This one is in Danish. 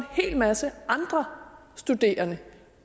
hel masse andre studerende